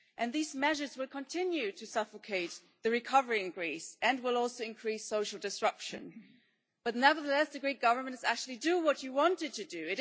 These measures will continue to suffocate the recovery in Greece and will also increase social disruption, but nevertheless the Greek government is actually doing what you wanted it to do.